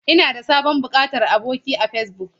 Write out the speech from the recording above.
Ina da sabon buƙatar aboki a Facebook.